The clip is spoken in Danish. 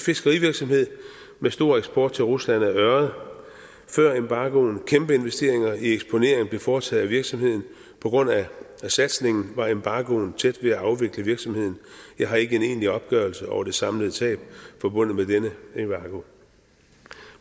fiskerivirksomhed med stor eksport til rusland af ørred før embargoen blev kæmpeinvesteringer i eksponering foretaget af virksomheden på grund af satsningen var embargoen tæt ved at afvikle virksomheden jeg har ikke en egentlig opgørelse over det samlede tab forbundet med denne embargo